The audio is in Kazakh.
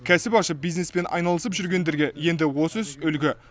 кәсіп ашып бизнеспен айналысып жүргендерге енді осы іс үлгі